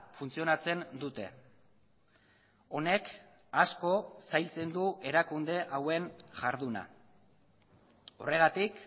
funtzionatzen dute honek asko zailtzen du erakunde hauen jarduna horregatik